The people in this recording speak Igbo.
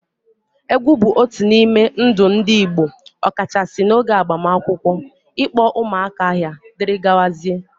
Egwu bụ otu n'ime ndụ ndị Igbo ọkachasị n'oge agbamakwụkwọ, ịkpọ ụmụaka aha, dgz.